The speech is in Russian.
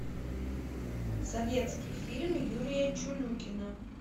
советский фильм юрия чулюкина